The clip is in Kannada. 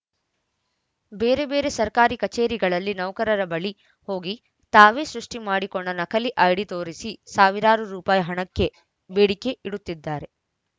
ಬೇರೆ ಬೇರೆ ಸರ್ಕಾರಿ ಕಚೇರಿಗಳಲ್ಲಿ ನೌಕರರ ಬಳಿ ಹೋಗಿ ತಾವೇ ಸೃಷ್ಟಿಮಾಡಿಕೊಂಡ ನಕಲಿ ಐಡಿ ತೋರಿಸಿ ಸಾವಿರಾರು ರುಪಾಯಿ ಹಣಕ್ಕೆ ಬೇಡಿಕೆ ಇಡುತ್ತಿದ್ದಾರೆ